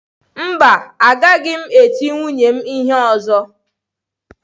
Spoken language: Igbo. Mba, agaghị m eti nwunye m ihe ọzọ.